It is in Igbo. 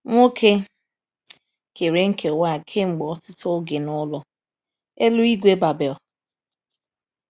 Nwoke kere nkewa a kemgbe ọtụtụ oge n’Ụlọ Eluigwe Babel.